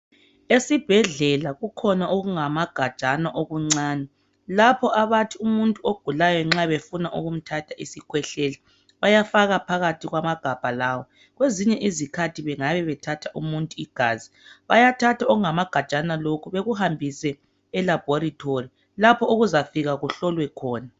Esibhedlela kukhona okungamagajana okuncane lapha abathi umuntu ogulayo nxa befuna ukumthatha isikhwehlela bayafaka phakathi kwamagabha lawa, kwezinye izikhathi bengabe bethatha umuntu igazi, bayathatha okungamagajana lokhu bekuhambise elaboratory lapho okuzafikwa kuhlolwe khona.